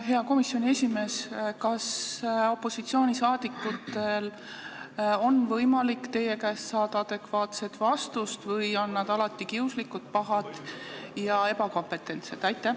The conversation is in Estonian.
Hea komisjoni esimees, kas opositsioonisaadikutel on võimalik saada teie käest adekvaatset vastust või on nad alati kiuslikud, pahad ja ebakompetentsed?